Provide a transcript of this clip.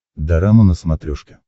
дорама на смотрешке